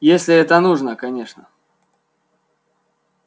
если это нужно конечно